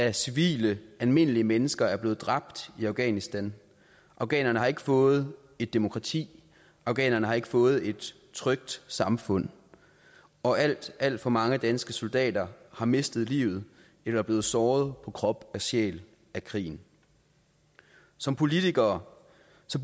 af civile almindelige mennesker er blevet dræbt i afghanistan afghanerne har ikke fået et demokrati afghanerne har ikke fået et trygt samfund og alt alt for mange danske soldater har mistet livet eller er blevet såret på krop og sjæl af krigen som politikere